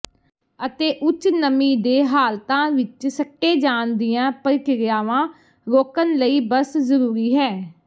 ਅਤੇ ਉੱਚ ਨਮੀ ਦੇ ਹਾਲਤਾਂ ਵਿਚ ਸੱਟੇ ਜਾਣ ਦੀਆਂ ਪ੍ਰਕਿਰਿਆਵਾਂ ਰੋਕਣ ਲਈ ਬਸ ਜ਼ਰੂਰੀ ਹੈ